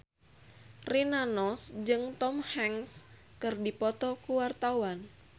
Rina Nose jeung Tom Hanks keur dipoto ku wartawan